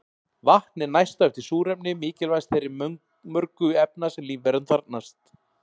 Vatn er næst á eftir súrefni mikilvægast þeirra mörgu efna sem lífveran þarfnast.